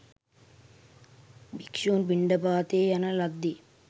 භික්‍ෂූන් පිණ්ඩපාතයේ යන ලද්දේ